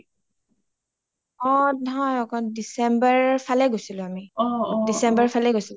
অ নহয় একন december ৰ ফালে গৈছিলো আমি december ৰ ফালেই গৈছিলো